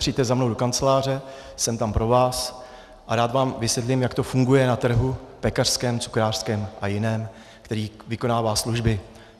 Přijďte za mnou do kanceláře, jsem tam pro vás a rád vám vysvětlím, jak to funguje na trhu pekařském, cukrářském a jiném, který vykonává služby.